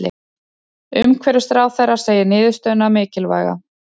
Umhverfisráðherra segir niðurstöðuna mikilvæga